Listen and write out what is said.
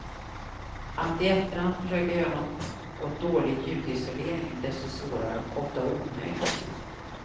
Att i efterhand försöka göra något åt dålig ljudisolering är desto svårare, ofta omöjligt.